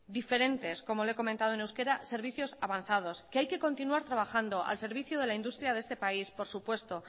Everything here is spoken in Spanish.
diferentes como le he comentado en euskera servicios avanzados que hay que continuar trabajando al servicio de la industria de este país por supuesto